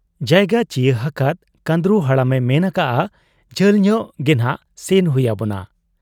ᱡᱟᱭᱜᱟ ᱪᱤᱭᱟᱹ ᱦᱟᱠᱟᱫ ᱠᱟᱺᱫᱽᱨᱩ ᱦᱟᱲᱟᱢᱮ ᱢᱮᱱ ᱟᱠᱟᱜ ᱟ, 'ᱡᱷᱟᱹᱞᱧᱚᱜ ᱜᱮᱱᱷᱟᱜ ᱥᱮᱱ ᱦᱩᱭ ᱟᱵᱚᱱᱟ ᱾